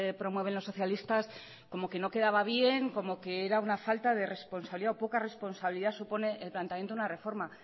promueven los socialistas como que no quedaba bien como que era una falta de responsabilidad o poca responsabilidad supone el planteamiento de una reforma